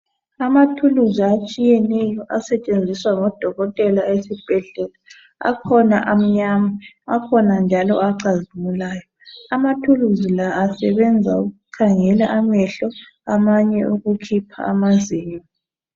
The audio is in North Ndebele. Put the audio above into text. Amathuluzi atshiyeneyo asetshenziswa ngodokotela esibhedlela, akhona amnyama akhona njalo acazimulayo. Amathuluzi la esebenza ukukhangela amehlo, amanye ukukhipha amazinyo.